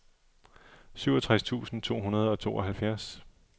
syvogtres tusind to hundrede og tooghalvfjerds